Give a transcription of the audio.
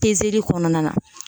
kɔnɔna na.